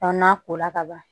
n'a ko la ka ban